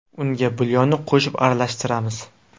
Unga bulyonni qo‘shib, aralashtiramiz.